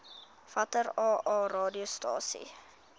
watter aa radiostasies